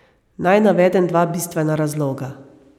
Naj navedem dva bistvena razloga.